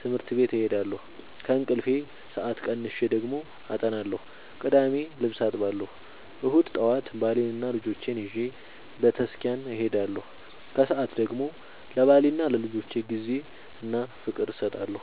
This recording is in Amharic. ትምህርት ቤት እሄዳለሁ። ከእንቅልፌ ሰአት ቀንሼ ደግሞ አጠናለሁ ቅዳሜ ልብስ አጥባለሁ እሁድ ጠዋት ባሌንና ልጆቼን ይዤ በተስኪያን እሄዳለሁ። ከሰዓት ደግሞ ለባሌና ለልጆቼ ጊዜ እና ፍቅር እሰጣለሁ።